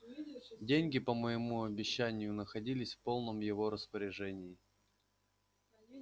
деньги по моему обещанию находились в полном его распоряжении